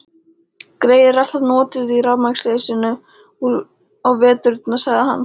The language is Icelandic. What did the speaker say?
Greyið er alltaf notuð í rafmagnsleysinu á veturna sagði hann.